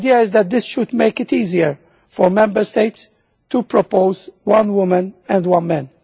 The idea is that this should make it easier for Member States to propose one woman and one man.